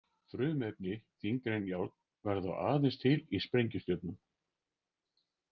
Frumefni þyngri en járn verða þó aðeins til í sprengistjörnum.